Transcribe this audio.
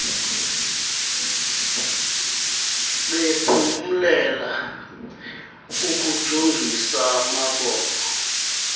bephumlela ukujongis amabombo